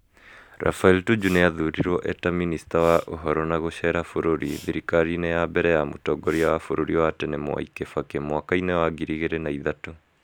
Raphael Tuju nĩ athurirwo e ta minista wa ũhoro na gucera bũrũri thirikariinĩ ya mbere ya Mũtongoria wa bũrũri wa tene Mwai Gibaki mwaka-ini wa ngiri igiri na ithatu .